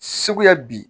Segu yan bi